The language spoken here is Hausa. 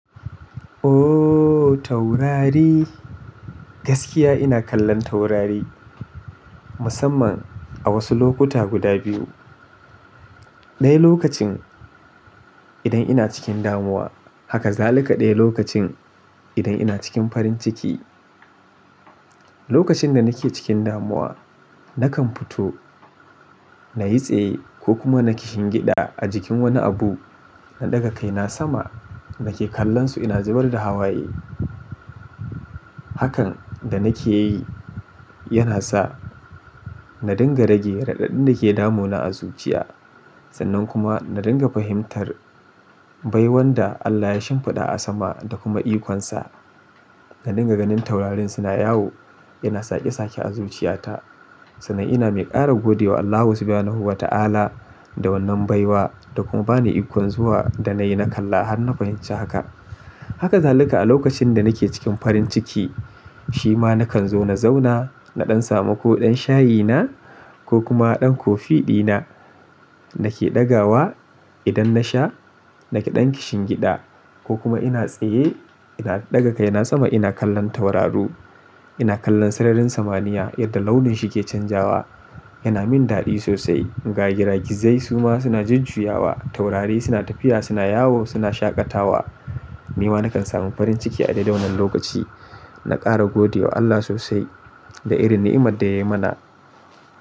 Taurari! Gaskiya ina kallon taurari, musamman a wasu lokuta guda biyu. Ɗaya lokacin idan ina cikin damuwa haka zalika ɗaya lokacin idan ina cikin farin ciki. Lokacin da nake cikin damuwa, nakan fito nayi tsaye ko kuma na kishingiɗa a jikin wani abu, na ɗaga kaina sama, nake kallon su ina zubar da hawaye. Hakan da nake yi yana sa na dinga rage raɗaɗin da ke damuna a zuciya sannan kuma na dinga fahimtar baiwan da Allah ya shimfiɗa a sama da kuma ikonsa. Ga dinga ganin taurarin suna yawo, yana sake sake a zuciyata sannan ina mai ƙara gode wa Allahu subhanahu wa ta'ala da wannan baiwa da kuma bani ikon zuwa da nayi na kalla har na fahimci haka. Haka zalika a lokacin da nake cikin farin ciki shima nakan zo na zauna naɗan samu ko ɗan shayi na ko kuma ɗan kofi ɗina nake ɗagawa, idan nasha, nake ɗan kishingida, ko kuma ina tsaye ina ɗaga kaina sama ina kallon tauraru. Ina kallon sararin samaniya yadda launin shi ke canzawa yana min daɗi sosai. Ga giragizai suma suna jujjuyawa, taurari suna tafiya suna yawo suna shaƙatawa. Ni ma nakan samu farin ciki a daidai wannan lokaci. Na ƙara gode wa Allah sosai da irin ni'imar da ya yi mana.